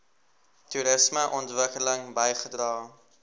toerisme ontwikkeling bygedra